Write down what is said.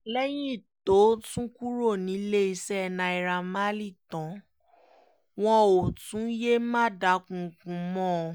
lẹ́yìn tó tún kúrò níléeṣẹ́ naira marley tán wọn ò tún yéé máa dúkoókò mọ́ ọn